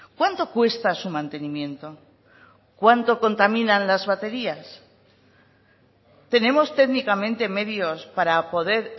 cuánto cuesta su mantenimiento cuánto contaminan las baterías tenemos técnicamente medios para poder